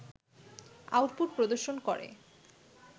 output প্রদর্শন করে